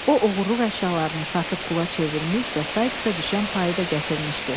O oğurluq əşyalarını satıb pula çevirmiş və Saiksa düşən payı da gətirmişdi.